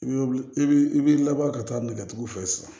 I bɛ wuli i bi i bi laban ka taa nɛgɛ tigiw fɛ sisan